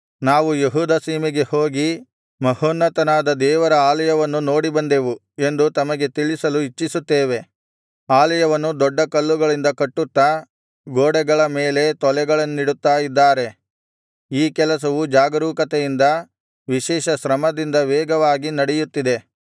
ನಾವು ಯೆಹೂದ ಸೀಮೆಗೆ ಹೋಗಿ ಮಹೋನ್ನತನಾದ ದೇವರ ಆಲಯವನ್ನು ನೋಡಿ ಬಂದೆವು ಎಂದು ತಮಗೆ ತಿಳಿಸಲು ಇಚ್ಛಿಸುತ್ತೇನೆ ಆಲಯವನ್ನು ದೊಡ್ಡ ಕಲ್ಲುಗಳಿಂದ ಕಟ್ಟುತ್ತಾ ಗೋಡೆಗಳ ಮೇಲೆ ತೊಲೆಗಳನ್ನಿಡುತ್ತಾ ಇದ್ದಾರೆ ಈ ಕೆಲಸವು ಜಾಗರೂಕತೆಯಿಂದ ವಿಶೇಷ ಶ್ರಮದಿಂದ ವೇಗವಾಗಿ ನಡೆಯುತ್ತಿದೆ